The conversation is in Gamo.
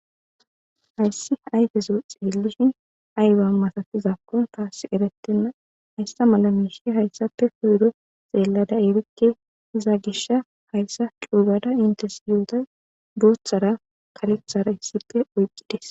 hayssi ayfezo xeellishin aywa masatizakkon taas erettenna hayssa mala miishi hayssape koyro xeellada erikke iza gisha hayssa cuugada intes yuhuda booththara kalethara hissipe oyqqides